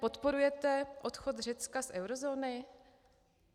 Podporujete odchod Řecka z eurozóny?